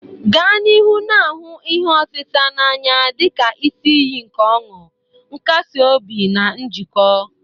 Gaa n'ihu na-ahụ ihe otita n'anya dị ka isi iyi nke ọṅụ, nkasi obi, na njikọ.